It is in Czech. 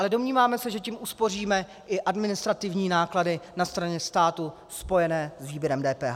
Ale domníváme se, že tím uspoříme i administrativní náklady na straně státu spojené s výběrem DPH.